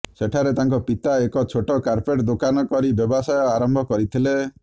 ସେଠାରେ ତାଙ୍କ ପିତା ଏକ ଛୋଟ କାର୍ପେଟ ଦୋକାନ କରି ବ୍ୟବସାୟ ଆରମ୍ଭ କରିଥିଲେ